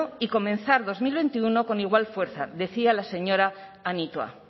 y comenzar dos mil veintiuno con igual fuerza decía la señora anitua